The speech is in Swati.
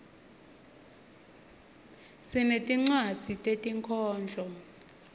sinetinwadzi tetinkhondlo